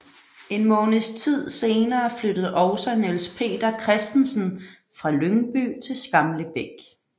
En månedstid senere flyttede også Niels Peter Christensen fra Lyngby til Skamlebæk